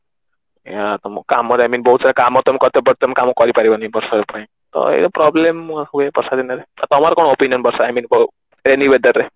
ଆଁ କାମ ରେ I mean ବହୁତ ସାରା କାମ but ତମେ କାମ କରିପାରିବନି ବର୍ଷା ପାଇଁ ତ ଇଏ problem ହୁଏ ବର୍ଷା ଦିନରେ ତ ତମର କଣ opinion ବର୍ଷା I mean rainy weather ରେ